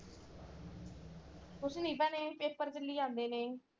ਕੁੱਛ ਨਹੀਂ ਭੈਣੇ ਪੇਪਰ ਚਲੀ ਜਾਂਦੇ ਨੇ।